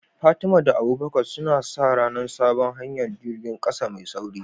Fatima da Abubakar suna sa ran sabon hanyar jirgin kasa mai sauri.